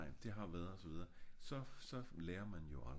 nej nej det har været og så videre så så lærer man jo aldrig